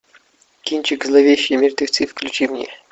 кинчик зловещие мертвецы включи мне